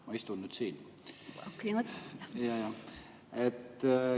Ma istun nüüd siin.